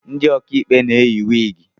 Ndị okaikpe na-eyị wịgị